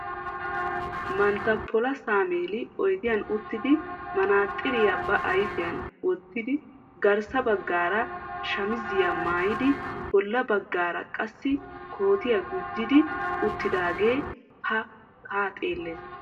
Manttaa pola sammeeli oyidiyan uttidi manaaxxiriya ba ayifiyan wottidi garssa baggaara shamiziya mayyidi bolla baggaara qassi kootiya gujjidi uttidaagee haa xeelles.